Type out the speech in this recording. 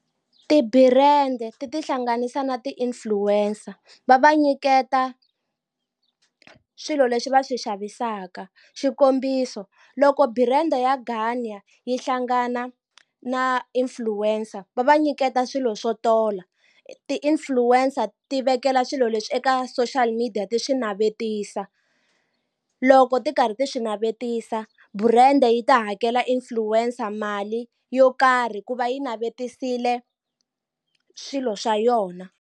Ti-brand ti tihlanganisa na ti-influencer va va nyiketa swilo leswi va swi xavisaka xikombiso loko brand ya Garnier yi hlangana na influencer va va nyiketa swilo swo tola ti-influencer ti vekela swilo leswi eka social media ti swi navetisa loko ti karhi ti swi navetisa brand yi ta hakela influencer mali yo karhi ku va yi navetisile swilo swa yona.